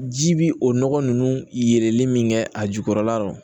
Ji bi o nɔgɔ nunnu yeli min kɛ a jukɔrɔla rɔ